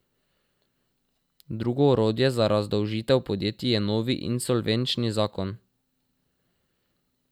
Drugo orodje za razdolžitev podjetij je novi insolvenčni zakon.